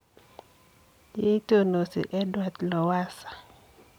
Yeitonosii Edward Lowassa.